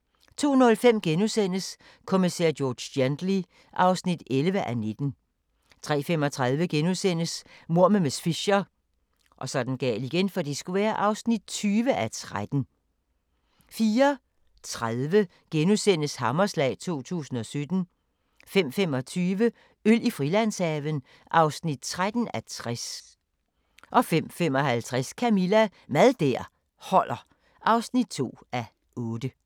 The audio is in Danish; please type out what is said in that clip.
* 02:05: Kommissær George Gently (11:19)* 03:35: Mord med miss Fisher (20:13)* 04:30: Hammerslag 2017 * 05:25: Øl i Frilandshaven (13:60) 05:55: Camilla – Mad der holder (2:8)